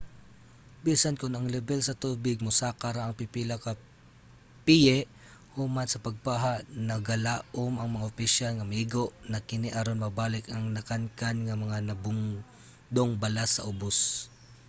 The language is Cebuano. bisan kon ang lebel sa tubig mosaka ra og pipila ka piye human sa pagbaha nagalaom ang mga opisyal nga maigo na kini aron mabalik ang nakankan nga mga nagbungdong balas sa ubos